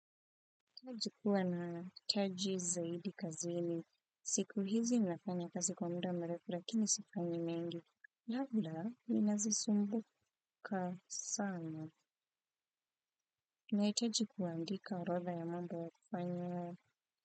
Nahitaji kuwa na taji zaidi kazini, siku hizi ninafanya kazi skwa mda mrefu lakini si kazi nyingi. Labda ninazisumbuka sana. Nahitaji kuandika orodha ya mambo ya kufanya.